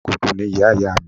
Amọ̀kòkò ni ìyá ìyá mi